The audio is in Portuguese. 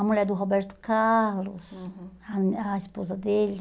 A mulher do Roberto Carlos, uhum, a a esposa dele.